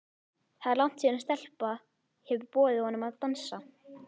Það er langt síðan stelpa hefur boðið honum að dansa.